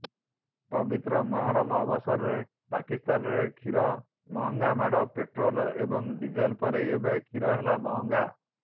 ପବିତ୍ର ମହରମ୍ ଅବସରରେ ପାକିସ୍ତାନରେ କ୍ଷୀରର ମହଙ୍ଗାମାଡ଼ ପେଟ୍ରୋଲ୍ ଏବଂ ଡିଜେଲ୍ ପରେ ଏବେ କ୍ଷୀର ହେଲା ମହଙ୍ଗା